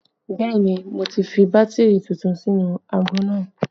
Bẹẹ ni, mo ti fi bátìrì tuntun sínú aago náà